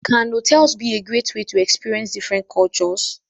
Can hotels be a great way to experience different cultures?